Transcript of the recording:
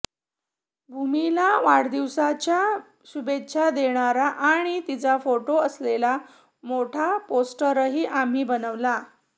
भूमीला वाढदिवसाच्या शुभेच्छा देणारा आणि तिचा फोटो असलेला मोठा पोस्टरही आम्ही बनवला